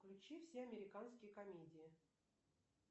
включи все американские комедии